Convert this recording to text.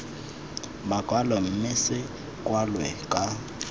makwalo mme se kwalwe ka